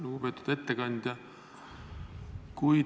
Lugupeetud ettekandja!